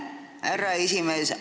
Aitäh, härra esimees!